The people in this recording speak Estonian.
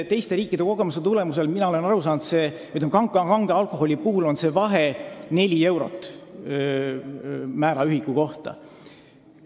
Teiste riikide kogemuse põhjal olen ma aru saanud, et kange alkoholi puhul on see kriitiline vahe neli eurot määra ühiku kohta.